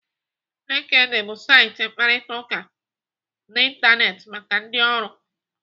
LinkedIn bụ saịtị ịkparịta ụka n'Ịntanetị maka ndị ọrụ.